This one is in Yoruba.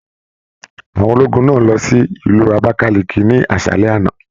Àwọn ológun náà lọ sí Ìlú Abakaliki ni aṣalẹ àna.